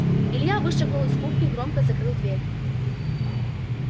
илья вышагнул из кухни громко закрыл дверь